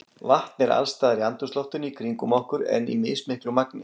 Vatn er alls staðar í andrúmsloftinu í kringum okkur en í mismiklu magni.